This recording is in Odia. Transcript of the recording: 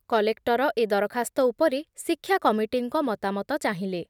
କଲେକ୍ଟର ଏ ଦରଖାସ୍ତ ଉପରେ ଶିକ୍ଷା କମିଟିଙ୍କ ମତାମତ ଚାହିଁଲେ ।